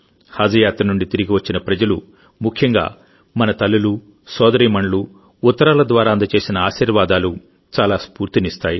హజ్ యాత్ర నుండి తిరిగి వచ్చిన ప్రజలుముఖ్యంగా మన తల్లులు సోదరీమణులు ఉత్తరాల ద్వారా అందజేసిన ఆశీర్వాదాలు చాలా స్ఫూర్తినిస్తాయి